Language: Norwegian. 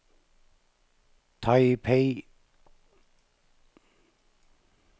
Taipei